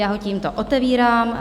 Já ho tímto otevírám.